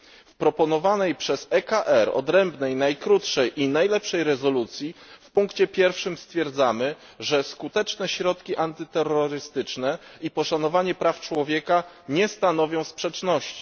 W proponowanej przez EKR odrębnej, najkrótszej i najlepszej rezolucji w punkcie pierwszym stwierdzamy, że skuteczne środki antyterrorystyczne i poszanowanie praw człowieka nie stanowią sprzeczności.